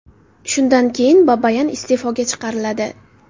Shunday keyin Babayan iste’foga chiqariladi.